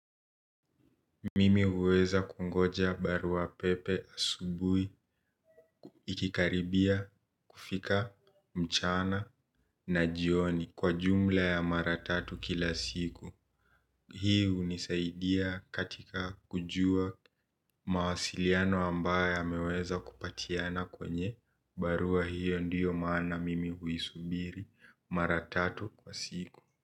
Mimi huweza kungoja barua pepe asubuhi, ikikaribia, kufika, mchana, na jioni. Kwa jumla ya mara tatu kila siku. Hii hunisaidia katika kujua mawasiliano ambayo yameweza kupatiana kwenye barua hiyo ndio maana mimi huisubiri maratatu kwa siku.